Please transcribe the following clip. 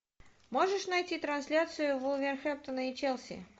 можешь найти трансляцию вулверхэмптона и челси